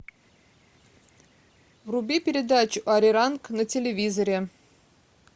вруби передачу ариранг на телевизоре